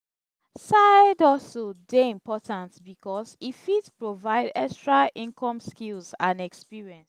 side-hustle dey important because e fit provide extra income skills and experience.